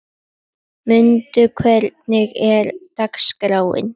Munda, hvernig er dagskráin?